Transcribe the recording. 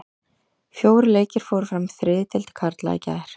Fjórir leikir fóru fram í þriðju deild karla í gær.